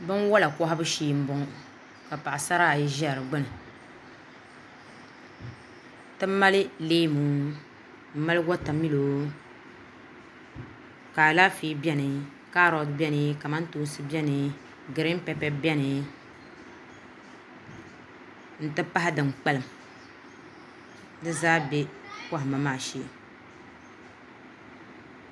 Binwola kohabu shee n boŋo ka paɣasara ayi ʒɛ di gbuni ti mali leemu n mali wotamilo ka Alaafee biɛni kamantoosi biɛni kaarot biɛni giriin pɛpɛ biɛni n ti pahi din kpalim di zaa bɛ kohamma maa shee